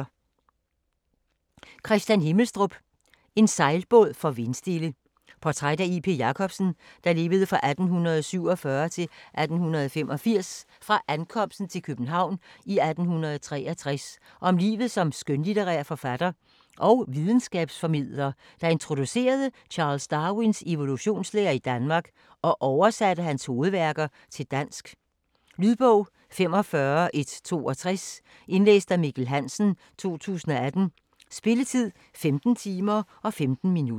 Himmelstrup, Kristian: En sejlbåd for vindstille Portræt af J. P. Jacobsen (1847-1885) fra ankomsten til København i 1863 og om livet som skønlitterær forfatter og videnskabsformidler, der introducerede Charles Darwins evolutionslære i Danmark og oversatte hans hovedværker til dansk. Lydbog 45162 Indlæst af Mikkel Hansen, 2018. Spilletid: 15 timer, 15 minutter.